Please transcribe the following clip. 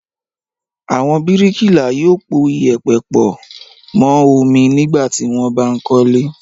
Àwọn bíríkìlà yóò po ìyẹ̀pẹ̀ pọ̀ mọ́ omi nígbà tí wọ́n bá ń kọ́lé.